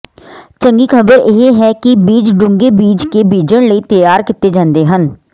ਚੰਗੀ ਖ਼ਬਰ ਇਹ ਹੈ ਕਿ ਬੀਜ ਡੂੰਘੇ ਬੀਜ ਕੇ ਬੀਜਣ ਲਈ ਤਿਆਰ ਕੀਤੇ ਜਾਂਦੇ ਹਨ